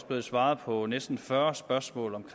blevet svaret på næsten fyrre spørgsmål om